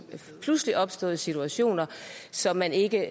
pludseligt opståede situationer som man ikke